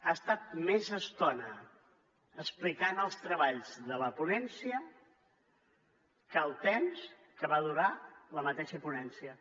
ha estat més estona explicant els treballs de la ponència que el temps que va durar la mateixa ponència